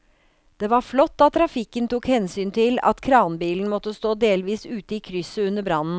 Det var flott at trafikken tok hensyn til at kranbilen måtte stå delvis ute i krysset under brannen.